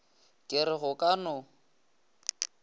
ke re go ka no